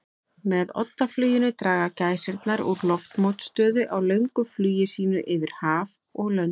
Með oddafluginu draga gæsirnar úr loftmótstöðu á löngu flugi sínu yfir höf og lönd.